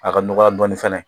A ka nɔgɔya dɔɔnin fana